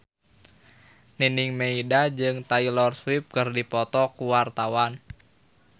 Nining Meida jeung Taylor Swift keur dipoto ku wartawan